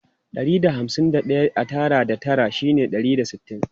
Ɗari da hamsin da ɗaya a tara da tara shine ɗari da sittin.